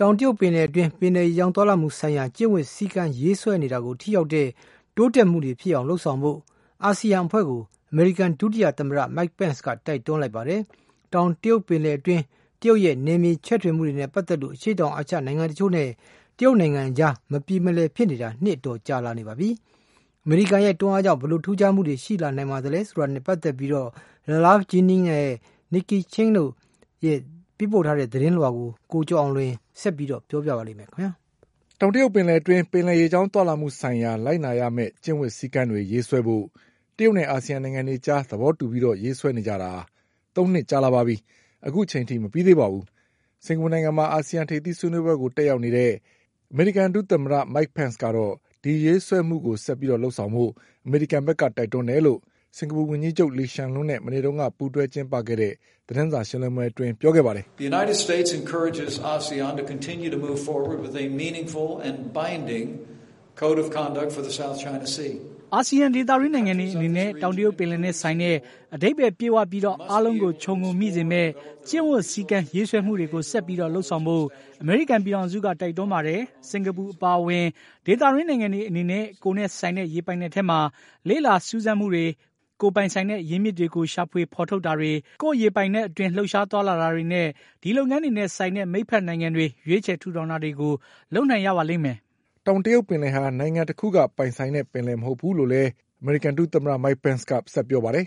တောင်တရုတ်ပင်လယ်အတွင်း ပင်လယ်ရေကြောင်းသွားလာမှုဆိုင်ရာ ကျင့်ဝတ်စည်းကမ်းရေးဆွဲနေတာကို ထိရောက်တဲ့ တိုးတက်မှုတွေဖြစ်အောင်လုပ်ဆောင်ဖို့ အာဆီယံအဖွဲ့ကို အမေရိကန်ဒုသမ္မတ Mike Pence ကတိုက်တွန်းလိုက်ပါတယ်။ တောင်တရုတ်ပင်လယ်အတွင်းတရုတ်ရဲ့ နယ်မြေချဲ့ထွင်မှုတွေနဲ့ပတ်သက်လို့ အရှေ့တောင်အာရှနိုင်ငံတချို့နဲ့ တရုတ်နိုင် ငံအကြားမပြေမလည်ဖြစ်နေတာ နှစ်အတော်ကြာလာနေပါပြီ။ အမေရိကန်ရဲ့တွန်းအားကြောင့် ဘယ်လိုထူးခြား မှုတွေရှိ လာနိုင်သလဲဆိုတာနဲ့ပတ်သက်ပြီး Ralph Jennings နဲ့ Nike Ching တို့ရဲ့သတင်းကို ကိုကျော်အောင်လွင် ဆက်ပြောပါ လိမ့်မယ်။ တောင်တရုတ်ပင်လယ်အတွင်း ပင်လယ်ရေကြောင်းသွားလာမှုဆိုင်ရာ လိုက်နာရမယ့်ကျင့်ဝတ်စည်းကမ်းတွေရေးဆွဲဖို့ တရုတ်နဲ့အာဆီယံနိုင်ငံအတွေအကြားသဘောတူပြီး ရေးဆွဲနေကြတာ သုံးနှစ်ကြာလာပါပြီ။ အခုချိန်ထိမပြီးသေးပါဘူး။ စင်္ကာပူနိုင်ငံမှာ အာဆီယံထိပ်သီးဆွေးနွေးပွဲကိုတက်ရောက်နေတဲ့ အမေရိ ကန်ဒုသမ္မတ Mike Penceကတော့ ဒီရေးဆွဲမှု ကိုဆက်လုပ်ဖို့အမေရိကန်ဘက်ကတိုက်တွန်းတယ်လို့ စင်္ကာပူဝန်ကြီးချုပ်လီရှန်လုံးနဲ့ မနေ့ကပူးတွဲကျင်းပခဲ့တဲ့သတင်းစာရှင်းလင်း ပွဲမှာ ပြောခဲ့ပါတယ်။ "အာဆီယံဒေသတွင်းနိုင်ငံတွေအနေနဲ့ တောင်တရုတ်ပင်လယ်နဲ့ဆိုင်တဲ့ အဓိပ္ပါယ်ပြည့်ဝပြီးအာလုံးကိုခြုံငုံမိစေမယ့် ကျင့် ဝတ်စည်းကမ်းရေးဆွဲမှုတွေကိုဆက်ပြီးလုပ်ဆောင်ဖို့အမေရိကန်ပြည်ထောင်စုက တိုက်တွန်းပါတယ်။ စင်္ကာပူအပါ အဝင် ဒေသတွင်းနိုင်ငံတွေအနေနဲ့ ကိုယ့်နဲ့ဆိုင်တဲ့ရေပိုင်နက်ထဲမှာ လေ့လာစူးစမ်းမှုတွေ၊ ကိုယ်ပိုင်ဆိုင်တဲ့ အရင်းအမြစ်တွေကို ရှာဖွေဖေါ်ထုတ်တာတွေ၊ ကိုယ်ရေပိုင်နက်အတွင်းလှုပ်ရှားသွားလာတာတွေနဲ့ ဒီလုပ်ငန်းတွေနဲ့ဆိုင်တဲ့ မိတ်ဖက်နိုင်ငံတွေ ရွေးချယ်ထူထောင်တာတွေကို လုပ်နိုင်ရပါလိမ့်မယ်" တောင်တရုတ်ပင်လယ်ဟာ နိုင်ငံတခုက ပိုင်ဆိုင်တဲ့ပင်လယ်မဟုတ်ဘူးလို့လည်း အမေရိကန်ဒုသမ္မတ Mike Penceက ဆက်ပြောပါတယ်။ "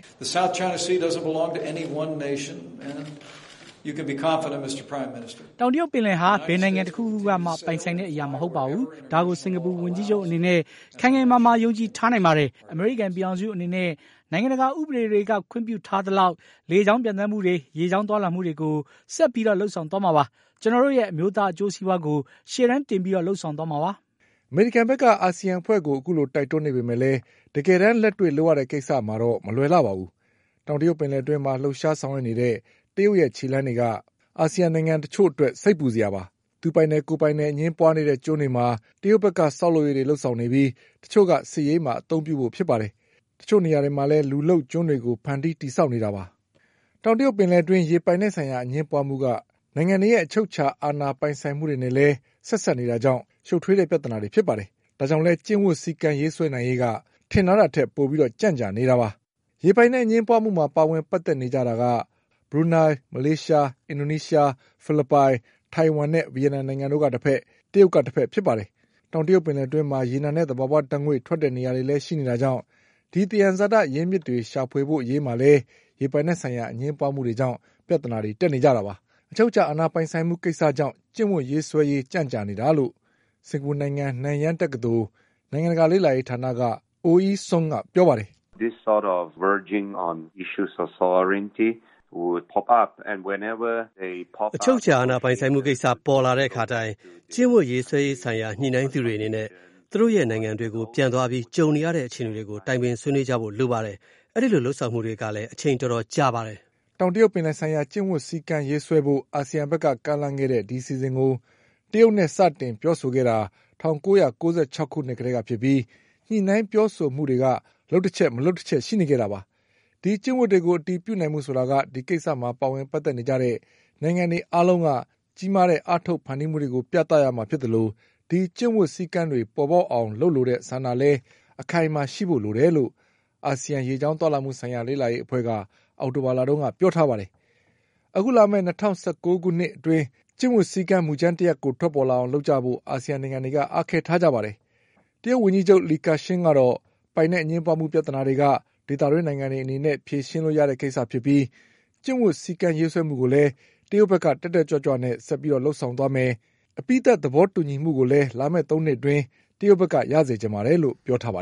တောင်တရုတ်ပင်လယ်ဟာ ဘယ်နိုင်ငံတခုခုကပိုင်ဆိုင်တဲ့အရာမဟုတ်ပါဘူး။ ဒါကို စင်္ကာပူဝန်ကြီးချုပ်အနေနဲ့ ခိုင်ခိုင်မာ မာယုံကြည်ထားနိုင်ပါတယ်။ အမေရိကန်ပြည်ထောင်စုအနေနဲ့ နိုင်ငံတကာဥပဒေတွေက ခွင့်ပြုထားသလောက်လေ ကြောင်းပျံသန်းမှုတွေ ရေကြောင်းသွားလာမှုတွေကို ဆက်ပြီးလုပ်ဆောင်သွားမှာပါ။ ကျနော်တို့ရဲ့အမျိုးသားအကျိုးစည်း ပွါးကို ရှေ့တန်းတင်ပြီးလုပ်ဆောင်သွားမှာပါ" အမေရိကန်ဘက်က အာဆီယံအဖွဲ့ကို အခုလိုတိုက်တွန်းနေပေမဲ့လည်း တကယ်တမ်းလက်တွေ့လုပ်ရတဲ့ကိစ္စမှာတော့ မလွယ်လှပါဘူး။ တောင်တရုတ်ပင်လယ်အတွင်းမှာလှုပ်ရှားဆောင်ရွက်နေတဲ့ တရုတ်ရဲ့ခြေလှမ်းတွေက အာဆီယံနိုင်ငံ တချို့အတွက် စိတ်ပူစရာပါ။ သူပိုင်တယ်ကိုယ်ပိုင်တယ်အငြင်းပွါးနေတဲ့ကျွန်းတွေမှာ တရုတ်ဘက်က ဆောက်လုပ်ရေး တွေလုပ်နေပြီး တချို့က စစ်ရေးမှာ အသုံးပြုဖို့ဖြစ်ပါတယ်။ တချို့နေရာတွေမှာလည်း လူလုပ်ကျွန်းတွေကိုဖန်တီးတည်ဆောက်နေတာ ပါ။ တောင်တရုတ်ပင်လယ်အတွင်းရေးပိုင်နက်ဆိုင်ရာအငြင်းပွါးမှုတွေက နိုင်ငံတွေရဲ့အချုပ်အခြာပိုင်ဆိုင်မှုတွေနဲ့လည်း ဆက်စပ်နေတာကြောင့် ရှုပ်ထွေးတဲ့ပြဿနာတွေဖြစ်ပါတယ်။ အဲဒါကြောင့်လည်း ကျင့်ဝတ်စည်းကမ်းရေးဆွဲနိုင်ရေးက ထင်ထားတာထက်ပိုပြီးကြန့်ကြာနေတာပါ။ ရေပိုင်နက်အငြင်းပွါးမှုမှာပါဝင်ပတ်သက်နေကြတာက ဘရူးနိုင်းလ်၊ မလေးရှား အင်ဒိုနီးရှား၊ ဖိလစ်ပိုင်၊ ထိုင်ဝမ်နဲ့ ဗီယက်နမ်နိုင်ငံတို့ကတဘက်၊ တရုတ်ကတဘက်ဖြစ်ပါတယ်။ တောင်တရုတ်ပင်လယ် အတွင်းမှာ ရေနံနဲ့သဘာဝဓါတ်ငွေ့ထွက်တဲ့နေရာတွေလည်းရှိနေတာကြောင့် ဒီသံယံဇာတအရင်းအမြစ်တွေရှာဖွေဖို့ အရေးမှာလည်း ရေပိုင်နက်ဆိုင်ရာအငြင်းပွါးမှုတွေကြောင့် ပြဿနာတက်နေကြတာပါ။ အချုပ်အခြာပိုင်ဆိုင်မှုကိစ္စကြောင့် ကျင့်ဝတ်ရေးဆွဲရေးကြန့်ကြာနေတာလို့ စင်္ကာပူနိုင်ငံ နန်ယန်းတက္ကသိုလ် နိုင်ငံတကာလေ့လာရေးဌာနက Oh Ei Sunက ပြောပါတယ်။ "အချုပ်အခြာအာဏာပိုင်ဆိုင်မှုကိစ္စပေါ်လာတဲ့အခါတိုင်း ကျင့်ဝတ်ရေးဆွဲရေးဆိုင်ရာညှိနှိုင်းသူတွေအနေနဲ့ သူတို့ရဲ့နိုင်ငံ တွေကိုပြန်သွားပြီး ကြုံနေရတဲ့အခြေအနေတွေကို တိုင်ပင်ဆွေးနွေးကြဖို့လိုပါတယ်။ အဲဒီလိုလုပ်ဆောင်မှုတွေကလည်း အချိန်တော်တော်ကြာပါတယ်။" တောင်တရုတ်ပင်လယ်ဆိုင်ရာ ကျင့်ဝတ်စည်းကမ်းရေးဆွဲဖို့ အာဆီယံဘက်ကကမ်းလှမ်းခဲ့တဲ့ အစီအစဉ်ကို တရုတ်နဲ့စတင် ပြောဆိုခဲ့တာက ၁၉၉၆ခုနှစ်ကတည်းကဖြစ်ပြီး ညှိနှိုင်းပြောဆိုမှုတွေက လုပ်ချက် မလုပ်တချက်ရှိခဲ့ကြတာပါ။ ဒီကျင့်ဝတ် တွေကို အတည်ပြုနိုင်ဖို့ဆိုတာက ဒီကိစ္စမှာပါဝင်ပတ်သက်နေကြတဲ့နိုင်ငံတွေအားလုံးကကြီးမားတဲ့အားထုတ်ဖန်တီးမှုတွေ ကိုပြသရမှာဖြစ်သလို ဒီကျင့်ဝတ်စည်းကမ်းတွေပေါ်ပေါက်အောင်လုပ်လိုတဲ့ဆန္ဒလည်းခိုင်ခိုင်မာမာရှိဖို့လိုတယ်လို့ အာဆီယံရေးကြောင်းသွားလာမှုဆိုင်ရာလေ့လာရေးအဖွဲ့က အောက်တိုဘာလမှာပြောထားပါတယ်။ အခုလာမယ့်၂၀၁၉ခုနှစ် အတွင်း ကျင့်ဝတ်စည်းကမ်းမူကြမ်းတရပ်ကို ထွက်ပေါ်လာအောင်လုပ်ကြဖို့ အာဆီယံနိုင်ငံတွေကအားခဲထားကြပါတယ်။ တရုတ်ဝန်ကြီးချုပ် Li Keqiang ကတော့ ပိုင်နက်အငြင်းပွါးမှုပြဿနာတွေက ဒေသတွင်းနိုင်ငံတွေအနေနဲ့ဖြေရှင်းလို့ရတဲ့ ကိစ္စဖြစ်ပြီး ကျင့်ဝတ်စည်းကမ်းရေးဆွဲမှုကိုလည်း တရုတ်ဘက်က တက်တက်ကြွကြွနဲ့ဆက်ပြီးလုပ်ဆောင်သွားပါ့မယ့် အပြင် အပြီးသတ်သဘောတူညီမှုကိုလည်း လာမယ့်သုံးနှစ်အတွင်း တရုတ်ဘက်ကရစေချင်ပါတယ်လို့ပြောထားပါ